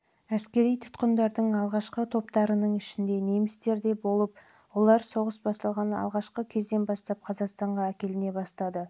әскери тұтқындардың алғашқы топтарының ішінде немістер де болып олаыр соғыс басталған алғашқы кезден бастап қазақстанға әкеліне бастады